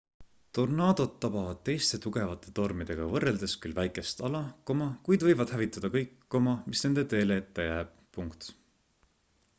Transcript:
tornaadod tabavad teiste tugevate tormidega võrreldes küll väikest ala kuid võivad hävitada kõik mis nende teele ette jääb